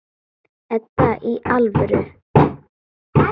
Edda, í alvöru.